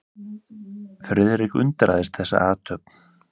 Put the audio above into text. Friðrik undraðist þessa athöfn.